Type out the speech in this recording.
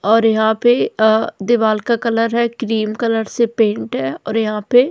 और यहां पे दीवार का कलर है क्रीम कलर से पेन्ट है और यहां पे --